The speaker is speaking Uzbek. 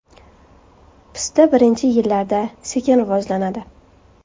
Pista birinchi yillarda, sekin rivojlanadi.